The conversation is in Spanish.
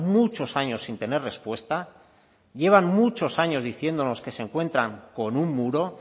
muchos años sin tener respuesta llevan muchos años diciéndonos que se encuentran con un muro